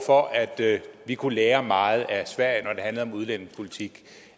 for at vi kunne lære meget af sverige om udlændingepolitik